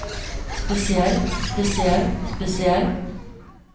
spesiell spesiell spesiell